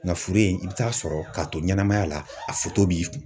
Nka furu in, i bɛ taa sɔrɔ k'a to ɲɛnamaya la, a foto b'i kun.